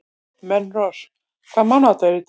Melrós, hvaða mánaðardagur er í dag?